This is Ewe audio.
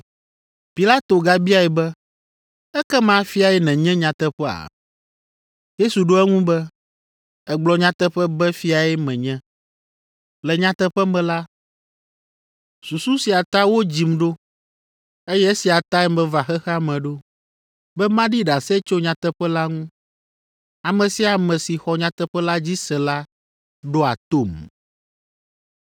Pilato gabiae be, “Ekema fiae nenye nyateƒea?” Yesu ɖo eŋu be, “Ègblɔ nyateƒe be fiae menye. Le nyateƒe me la, susu sia ta wodzim ɖo, eye esia tae meva xexea me ɖo, be maɖi ɖase tso nyateƒe la ŋu. Ame sia ame si xɔ nyateƒe la dzi se la ɖoa tom.”